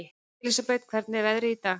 Elsabet, hvernig er veðrið í dag?